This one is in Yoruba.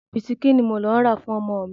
Bisikí ni mò ń lọ rà fún ọmọ mi.